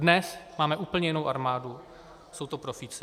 Dnes máme úplně jinou armádu, jsou to profíci.